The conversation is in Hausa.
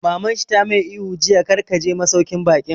Maman shi ta mai ihu jiya 'Kar ka je masauƙin baƙin'!